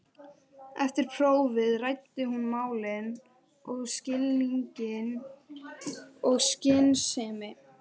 Eftir prófið ræddi hún málin af skilningi og skynsemi.